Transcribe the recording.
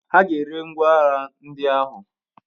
Aga eri ngwa agha ndị ahụ